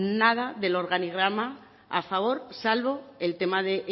nada del organigrama a favor salvo el tema de